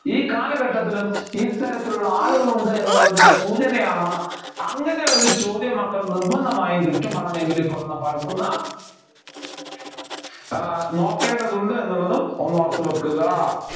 ഈ കാലഘട്ടത്തിലും ഇത്തരത്തിലുള്ള ആളുകളുണ്ട് എന്നുള്ളതിൻ്റെ സൂചനയാണ് അങ്ങനെ ഒരു ചോദ്യം മക്കൾ നിർബന്ധമായും കിട്ടും പണം എങ്കിലും ഇപ്പോൾ എന്ന പാഠത്തിൽ നിന്ന് ആഹ് നോക്കേണ്ടതുണ്ട് എന്നുള്ളതും ഒന്നോർത്തു വയ്ക്കുക